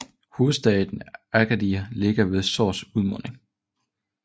Hovedstaden Agadir ligger ved Sous udmunding